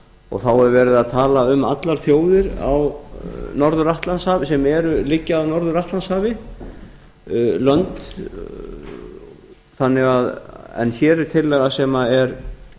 og þá er verið að tala um allar þjóðir sem liggja að norður atlantshafi en hér er tillaga sem er